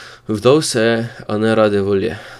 Vdal se je, a ne rade volje.